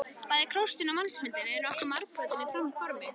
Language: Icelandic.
Bæði krossinn og mannsmyndin eru nokkuð margbrotin í formi.